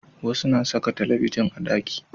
Wasu na saka talabijin a ɗaki